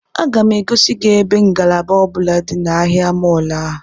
Aga m egosi gị ebe ngalaba ọ bụla dị na ahịa mọọlụ a